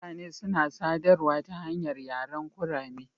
Mutane suna sadarwa ta hanyar yaren kurame.